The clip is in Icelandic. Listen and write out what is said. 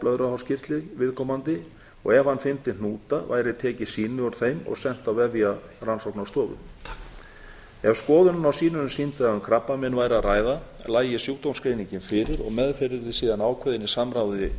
blöðruhálskirtil viðkomandi og ef hann fyndi hnúta væri tekið sýni úr þeim og sent á vefjarannsóknarstofu ef skoðun á sýninu sýndi að um krabbamein væri að ræða lægi sjúkdómsgreiningin fyrir og meðferð yrði síðan ákveðin